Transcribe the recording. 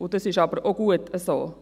Das ist aber auch gut so.